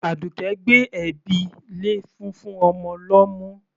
Àdùkẹ́ gbé ẹ̀bi lé fúnfún ọmọ lọ́mú.